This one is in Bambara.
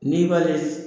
N'i b'ale